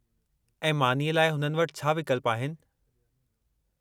ऐं मानीअ लाइ हुननि वटि छा विकल्प आहिनि?